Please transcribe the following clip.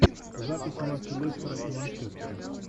запись матча лестера и манчестера